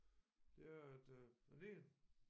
Det er at øh den ene